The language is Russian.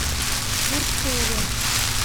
бурцеве